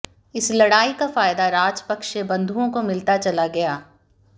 इस लड़ाई का फायदा राजपक्षे बंधुओं को मिलता चला गया